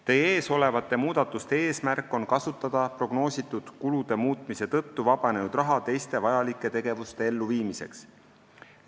Teie ees olevate muudatuste eesmärk on kasutada prognoositud kulude muutmise tõttu vabanenud raha teiste vajalike tegevuste elluviimiseks.